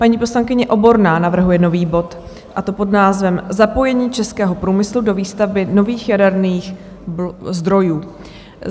Paní poslankyně Oborná navrhuje nový bod a to pod názvem Zapojení českého průmyslu do výstavby nových jaderných zdrojů.